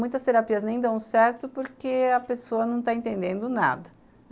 Muitas terapias nem dão certo porque a pessoa não está entendendo nada.